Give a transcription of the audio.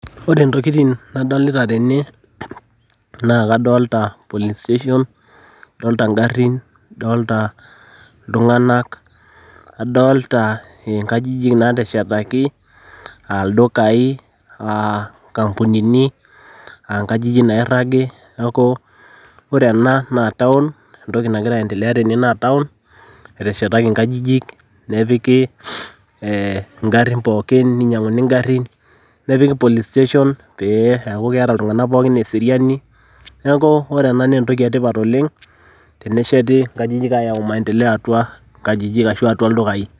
Ore intokitin nadolita tene, naa kadolita[c]police station adolita ingarrin, adolita ltunganak, adolita inkajijik naateshetaki aaldukaii, aankampunini, aankajijik nairagi, naaku ore naa [cs[town entoki nagira aendelea tene naa town eteshetaki inkajijik nepiki ingarrin pookin neinyang'uni ingarrin nepiki police station peeaku keeta oltungana pookin eseriani, neaku ore ena naa entoki etipat oleng tenesheti inkajijik aayau imaendeleo atua inkajijik ashu atua ildukaii.